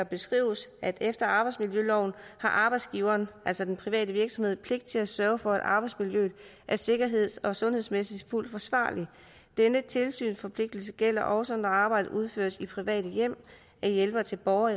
beskrives at efter arbejdsmiljøloven har arbejdsgiveren altså den private virksomhed pligt til at sørge for at arbejdsmiljøet er sikkerhedsmæssigt og sundhedsmæssigt fuldt forsvarligt denne tilsynsforpligtelse gælder også når arbejdet udføres i private hjemme af hjælpere til borgere